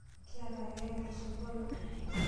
kiata keeya te osotua lang.